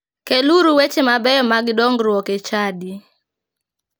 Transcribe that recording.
Keluru weche mabeyo mag dongruok e chadi.